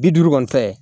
Bi duuru kɔni tɛ